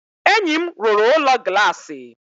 Enyi m rụrụ Ụlọ Glassi